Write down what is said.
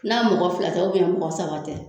N'a mɔgɔ fila tɛ mɔgɔ saba tɛ.